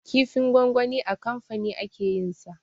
Kifin gwangwani a kamfani ake yin sa